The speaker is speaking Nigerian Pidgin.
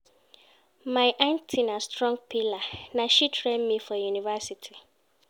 My aunty na my strong pillar, na she train me for university.